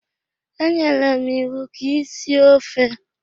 E nyere m iwu ka ị sie ofe!